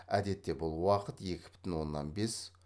әдетте бұл уақыт екі бүтін оннан бес